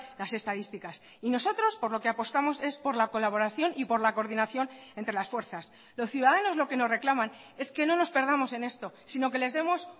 las estadísticas y nosotros por lo que apostamos es por la colaboración y por la coordinación entre las fuerzas los ciudadanos lo que nos reclaman es que no nos perdamos en esto sino que les demos